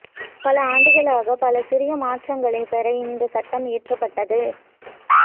பல ஆண்டுகளாக பல சிறிய மாற்றங்களைப் பெற இந்த சட்டம் இயற்றப்பட்டது